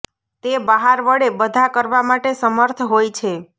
તે બહાર વળે બધા કરવા માટે સમર્થ હોય છે